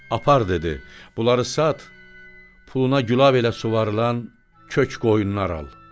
Apar dedi, bunları sat, puluna gülav elə suvarılan kök qoyunlar al.